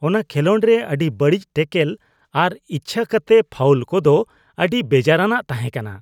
ᱚᱱᱟ ᱠᱷᱮᱞᱳᱰ ᱨᱮ ᱟᱹᱰᱤ ᱵᱟᱹᱲᱤᱡ ᱴᱮᱹᱠᱚᱞ ᱟᱨ ᱤᱪᱽᱪᱷᱟᱹ ᱠᱟᱛᱮ ᱯᱷᱟᱣᱩᱞ ᱠᱚᱫᱚ ᱟᱹᱰᱤ ᱵᱮᱡᱟᱨᱟᱱᱟᱜ ᱛᱟᱦᱮᱸ ᱠᱟᱱᱟ ᱾